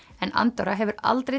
en Andorra hefur aldrei